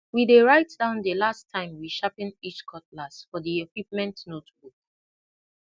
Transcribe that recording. we dey write down di last last time we sharpen each cutlass for di equipment notebook